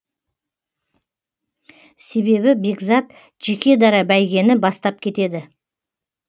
себебі бекзат жеке дара бәйгені бастап кетеді